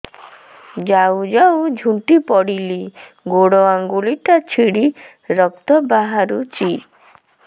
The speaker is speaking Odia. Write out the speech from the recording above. ଯାଉ ଯାଉ ଝୁଣ୍ଟି ପଡ଼ିଲି ଗୋଡ଼ ଆଂଗୁଳିଟା ଛିଣ୍ଡି ରକ୍ତ ବାହାରୁଚି